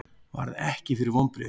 Varð ekki fyrir vonbrigðum